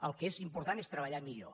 el que és important és treballar millor